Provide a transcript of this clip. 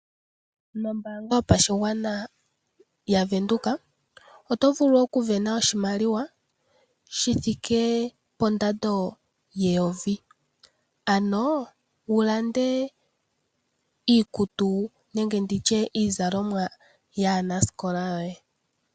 Nombaanga yopashigwana yaVenduka oto vulu okusindana oshimaliwa gandja ethigathano lyokusindana oshimaliwa shithike pondando yeyovi. Wuwape okulanda iikutu nenge iizalomwa yaanasikola yoye.